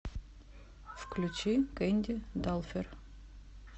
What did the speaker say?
включи кэнди далфер